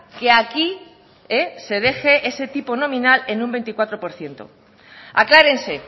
que aquí se deje ese tipo nominal en un veinticuatro por ciento aclárense